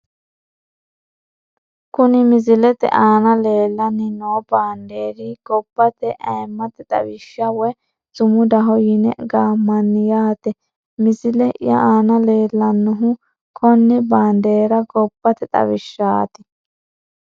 Kkuni misilete aana leelani noo bandeeri gobate ayimate xawisha woyi sumudaho yine gaamani yaate misileye aana leelanoha konebaandeera gobate xawishaati.